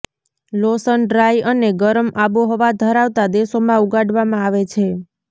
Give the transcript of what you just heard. લોસન dry અને ગરમ આબોહવા ધરાવતા દેશોમાં ઉગાડવામાં આવે છે